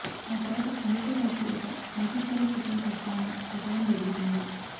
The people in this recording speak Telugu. ఆ తర్వాత తండ్రితో కలిసి ఒక మల్టీస్టారర్ చిత్రం చేస్తారని ప్రచారం జరుగుతోంది